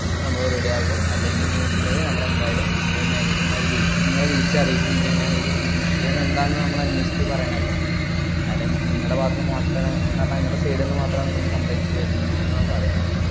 സംഭവം ready ആക്കും അല്ലെങ്കിൽ ന്ന്ണ്ടെ നമ്മളെന്തായാലും അത് manager മാര് ഡി~ ങ്ങളെ വിളിച്ചറിയിക്കും ഇങ്ങനെയാണ് ഇത്, ഈ വിഷയം എന്താന്ന് നമ്മളന്വേഷിച്ചിട്ട് പറയണല്ലോ. കാര്യം ങ്ങടെ ഭാഗത്തുനിന്ന് മാത്രാണ്, ന്നു പറഞ്ഞാ, ങ്ങടെ side ന്ന് മാത്രാണ് ഇങ്ങനെ complaints വരുന്നൂന്നാ പറയുന്നേ.